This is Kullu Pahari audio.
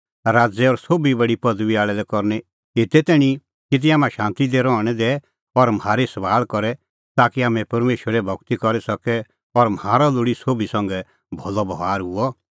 राज़ै और सोभी बडी पदबी आल़ै लै करनी एते तैणीं कि तिंयां हाम्हां शांती दी रहणैं दैए और म्हारी सभाल़ करे ताकि हाम्हैं परमेशरे भगती करी सके और म्हारअ लोल़ी सोभी संघै भलअ बभार हुअ